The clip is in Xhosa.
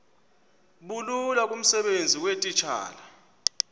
bulula kumsebenzi weetitshala